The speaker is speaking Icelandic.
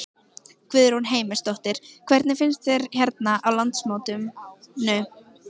Guðrún Heimisdóttir: Hvernig finnst þér hérna á landsmótinu?